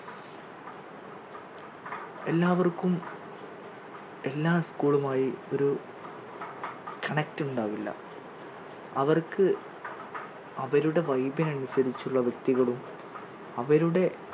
എല്ലാവർക്കും എല്ലാ school മായി ഒരു connect ഉണ്ടാവില്ല അവർക്ക് അവരുടെ vibe ന് അനുസരിച്ചുള്ള വ്യക്തികളും അവരുടെ